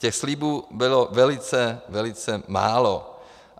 Těch slibů bylo velice, velice málo.